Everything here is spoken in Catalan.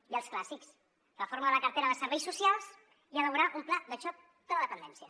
i els clàssics reforma de la cartera de serveis socials i elaborar un pla de xoc de la dependència